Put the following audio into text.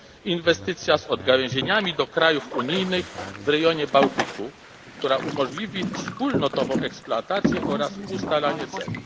Inwestycja z odgałęzieniami do krajów unijnych w rejonie Bałtyku, która umożliwi wspólnotową eksploatację oraz ustalanie cen.